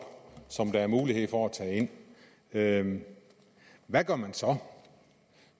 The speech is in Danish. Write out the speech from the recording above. som der er mulighed for at tage ind hvad gør man så